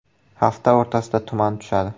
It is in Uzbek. Hafta o‘rtasida tuman tushadi.